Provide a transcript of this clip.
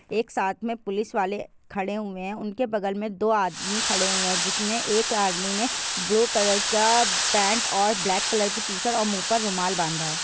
एक साथ मे पुलिस वाले खड़े हुए है। उनके बगल मे दो आदमी खड़े हुए है। जिस मे एक आदमी ने ब्लू कलर का पैंट ब्लैक कलर की टी.शर्ट और मूह पर रुमाल बाँधा हुआ है ।